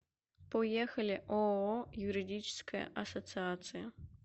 поехали ооо юридическая ассоциация